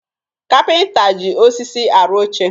Kapịnta ji osisi arụ oche